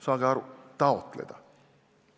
Saage aru: taotleda!